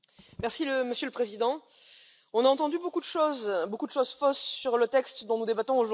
Monsieur le Président, on a entendu beaucoup de choses, beaucoup de choses fausses sur le texte dont nous débattons aujourd'hui.